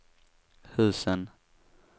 husen